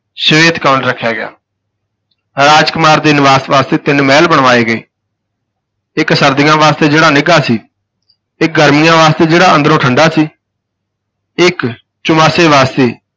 ਸ਼ਵੇਤ-ਕਮਲ ਰੱਖਿਆ ਗਿਆ ਰਾਜ ਕੁਮਾਰ ਦੇ ਨਿਵਾਸ ਵਾਸਤੇ ਤਿੰਨ ਮਹਿਲ ਬਣਵਾਏ ਗਏ ਇਕ ਸਰਦੀਆਂ ਵਾਸਤੇ, ਜਿਹੜਾ ਨਿੱਘਾ ਸੀ, ਇਕ ਗਰਮੀਆਂ ਵਾਸਤੇ, ਜਿਹੜਾ ਅੰਦਰੋਂ ਠੰਢਾ ਸੀ ਇਕ ਚੁਮਾਸੇ ਵਾਸਤੇ